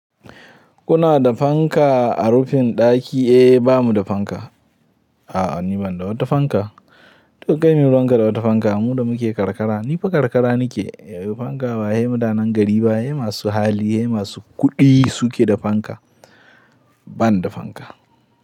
Kuna da fanka a rufin ɗaki? Eh, bamu da fanka. A'a ni ban da wata fanka. Dukai mai wanka da wata fanka. Mu da muke karkara, ni fa karkara nake. Fanka ba, dai madanan gari ba. Dai masu hali dai masu kuɗi su ke da fanka. Ban da fanka.